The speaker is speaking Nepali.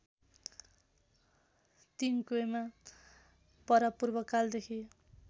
तिङक्येमा परापूर्वकालदेखि